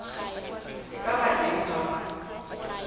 e ka ba teng ha